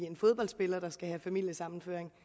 en fodboldspiller der skal have familiesammenføring